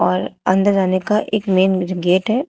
और अंदर आने का एक मेन गेट है।